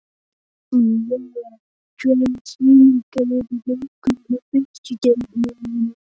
Úa, hvaða sýningar eru í leikhúsinu á föstudaginn?